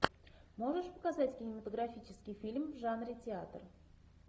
можешь показать кинематографический фильм в жанре театр